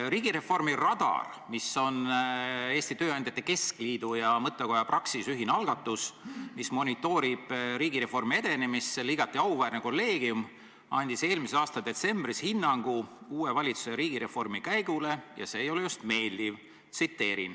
Riigireformi Radari, mis on Eesti Tööandjate Keskliidu ja mõttekoja Praxis ühine algatus, mis monitoorib riigireformi edenemist, igati auväärne kolleegium andis eelmise aasta detsembris hinnangu uue valitsuse riigireformi käigule ja see ei ole just meeldiv.